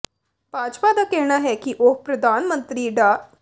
ਭਾਜਪਾ ਦਾ ਕਹਿਣਾ ਹੈ ਕਿ ਉਹ ਪ੍ਰਧਾਨ ਮੰਤਰੀ ਡਾ